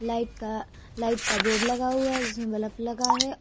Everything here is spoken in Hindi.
लाइट का लाइट का बोर्ड लगा हुआ है जिसमें बल्ब लगा है।